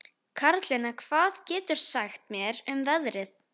Karlinna, hvað geturðu sagt mér um veðrið?